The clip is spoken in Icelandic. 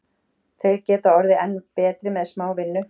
Þeir geta orðið enn betri með smá vinnu.